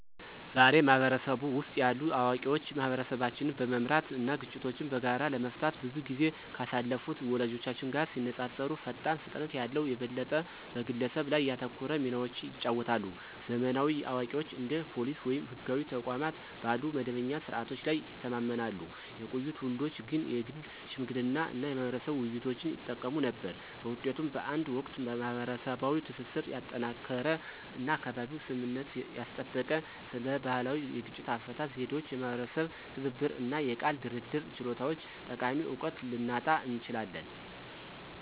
ዛሬ፣ በህብረተሰቡ ውስጥ ያሉ አዋቂዎች ማህበረሰቦችን በመምራት እና ግጭቶችን በጋራ ለመፍታት ብዙ ጊዜ ካሳለፉት ወላጆቻችን ጋር ሲነፃፀሩ ፈጣን ፍጥነት ያለው፣ የበለጠ በግለሰብ ላይ ያተኮረ ሚናዎችን ይጫወታሉ። ዘመናዊ አዋቂዎች እንደ ፖሊስ ወይም ህጋዊ ተቋማት ባሉ መደበኛ ስርዓቶች ላይ ይተማመናሉ፣ የቆዩ ትውልዶች ግን የግል ሽምግልና እና የማህበረሰብ ውይይቶችን ይጠቀሙ ነበር። በውጤቱም፣ በአንድ ወቅት ማህበረሰባዊ ትስስርን ያጠናከረ እና በአካባቢው ስምምነትን ያስጠበቀ ስለ ባህላዊ የግጭት አፈታት ዘዴዎች፣ የማህበረሰብ ትብብር እና የቃል ድርድር ችሎታዎች ጠቃሚ እውቀትን ልናጣ እንችላለን።